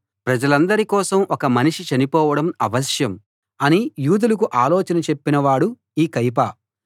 ప్రజలందరి కోసం ఒక మనిషి చనిపోవడం అవశ్యం అని యూదులకు ఆలోచన చెప్పినవాడే ఈ కయప